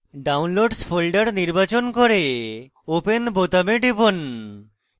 downloads folder নির্বাচন করে open বোতামে টিপুন